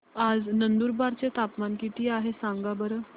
आज नंदुरबार चं तापमान किती आहे सांगा बरं